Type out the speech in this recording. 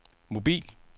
mobil